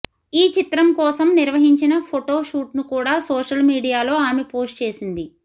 ఈ చిత్రం కోసం నిర్వహించిన ఫొటో షూట్ ను కూడా సోషల్ మీడియాలో ఆమె పోస్ట్ చేసింది